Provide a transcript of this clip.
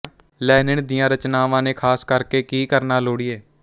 Lenin ਦੀਆਂ ਰਚਨਾਵਾਂ ਨੇ ਖਾਸ ਕਰਕੇ ਕੀ ਕਰਨਾ ਲੋੜੀਏ